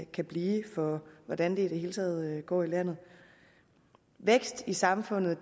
kan blive for hvordan det i det hele taget går i landet vækst i samfundet